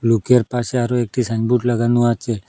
রুকের পাশে আরো একটি সাইনবোর্ড লাগানো আছে।